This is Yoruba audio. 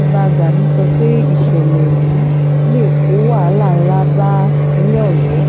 ibà gani sọ pé ìṣẹ̀lẹ̀ yìí lè kó wàhálà ńlá bá ìpínlẹ̀ ọ̀yọ́